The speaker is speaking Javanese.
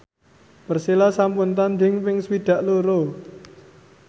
Persela sampun tandhing ping swidak loro